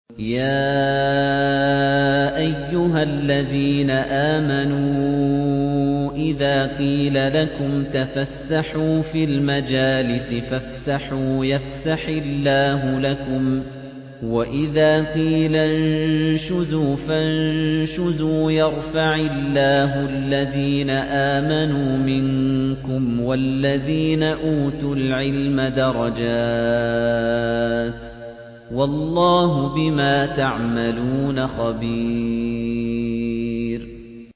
يَا أَيُّهَا الَّذِينَ آمَنُوا إِذَا قِيلَ لَكُمْ تَفَسَّحُوا فِي الْمَجَالِسِ فَافْسَحُوا يَفْسَحِ اللَّهُ لَكُمْ ۖ وَإِذَا قِيلَ انشُزُوا فَانشُزُوا يَرْفَعِ اللَّهُ الَّذِينَ آمَنُوا مِنكُمْ وَالَّذِينَ أُوتُوا الْعِلْمَ دَرَجَاتٍ ۚ وَاللَّهُ بِمَا تَعْمَلُونَ خَبِيرٌ